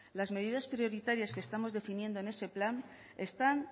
las medidas prioritarias que estamos definiendo en ese plan están